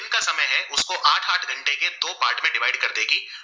कर देगी